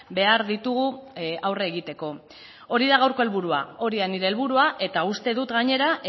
behar ditugu aurre egiteko hori da gaurko helburua hori da nire helburua eta uste dut gainera